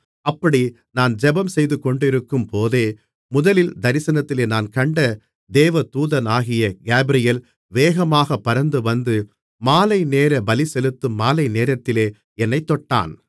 அப்படி நான் ஜெபம் செய்துகொண்டிருக்கும்போதே முதல் தரிசனத்திலே நான் கண்ட தேவதூதனாகிய காபிரியேல் வேகமாகப் பறந்துவந்து மாலைநேர பலிசெலுத்தும் மாலைநேரத்திலே என்னைத் தொட்டான்